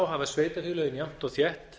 hafa sveitarfélögin jafnt og þétt